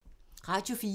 Radio 4